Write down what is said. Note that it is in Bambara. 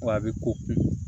Wa a bɛ koyi